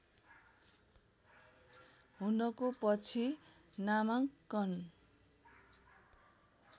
हुनको पछि नामाङ्कन